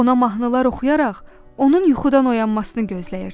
Ona mahnılar oxuyaraq onun yuxudan oyanmasını gözləyirdi.